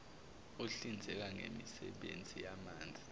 ohlinzeka ngemisebenzi yamanzi